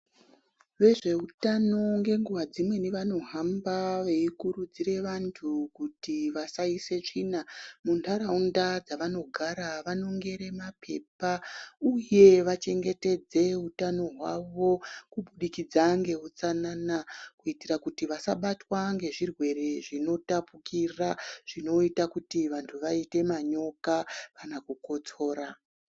Vezveutano ngenguwa dzimweni vanohamba veikurudzira vantu kuti asaisa tsvina muntaraunda dzanogara. Anongere mapepa, uye vachengetedze hutano hwawo kubudikidza ngeutsanana kuti asabatwa ngezvirwere zvinotapukira zvinoita kuti vantu vaite manyoka kana kukotsora.